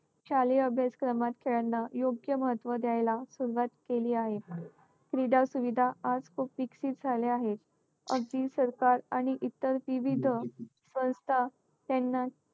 शालेय अभ्यासक्रमात खेळांना योग्य महत्त्व द्यायला सुरवात केली आहे . क्रीडा सुविधा आज खूप विकसित झाले आहेत. अगदी सरकार आणि इतर विविध संस्था त्यांना